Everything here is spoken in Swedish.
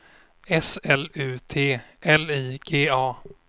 S L U T L I G A